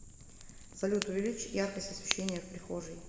салют увеличь яркость освещения в прихожей